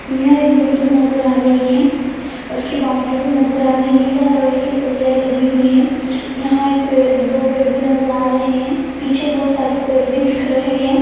यह एक बिल्डिंग नजर आ रहि है उस कि बाउंड्री भी नजर आ रहि है जहा लोहे कि सलियाये लगी हुइ है यहा एक पेड दो पेड भी नजर आ रहे है पिछे बहोत सारे पेड भी दिख रहे है।